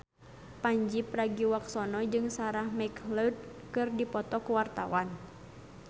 Pandji Pragiwaksono jeung Sarah McLeod keur dipoto ku wartawan